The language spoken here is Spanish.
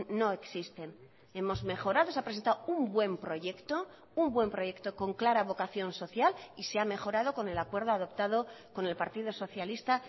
no existen hemos mejorado se ha presentado un buen proyecto un buen proyecto con clara vocación social y se ha mejorado con el acuerdo adoptado con el partido socialista